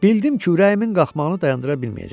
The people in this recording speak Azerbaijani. Bildim ki, ürəyimin qalxmağını dayandıra bilməyəcəm.